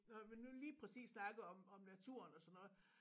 Når man nu lige præcis snakker om om naturen og sådan noget